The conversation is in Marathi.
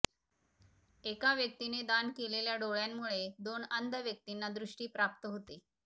एका व्यक्तीने दान केलेल्या डोळ्यांमुळे दोन अंध व्यक्तींना दृष्टी प्राप्त होते